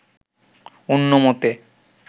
অন্য মতে